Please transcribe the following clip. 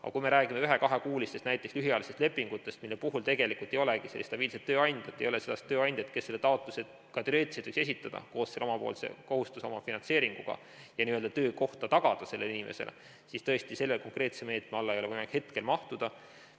Aga kui me räägime näiteks 1–2-kuulistest lühiajalistest lepingutest, mille puhul tegelikult ei olegi sellist stabiilset tööandjat, ei ole sellist tööandjat, kes selle taotluse ka teoreetiliselt võiks esitada koos selle omapoolse kohustuse, omafinantseeringuga, ja n-ö töökohta tagada sellele inimesele, siis tõesti selle konkreetse meetme alla ei ole võimalik neid hetkel mahutada.